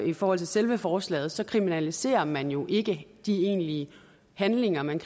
i forhold til selve forslaget kriminaliserer man jo ikke de egentlige handlinger men